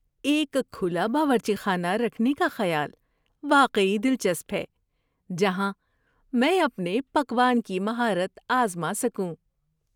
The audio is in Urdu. ایک کھلا باورچی خانہ رکھنے کا خیال واقعی دلچسپ ہے جہاں میں اپنے پکوان کی مہارت آزما سکوں۔